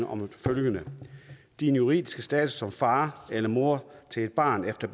om følgende din juridiske status som far eller mor til et barn efter